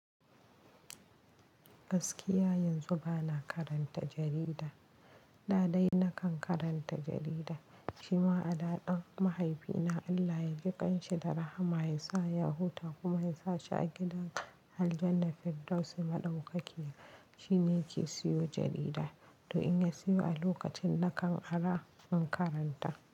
Gaskiya yanzu bana karanta jarida, da dai na kan karanta jarida shima a da ɗan mahaifina Allah ya jikan shi da rahama ya sa ya huta kuma ya sa shi a gidan aljannal fiddausi madaukakiya, shine yake siyo jarida, to in ya siyo a lokacin na kan ara in karanta.